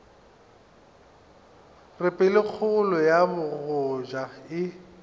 re pelokgolo ya bogoja e